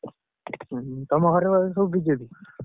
ଉଁ ତମ ଘରେ ସବୁ BJP ।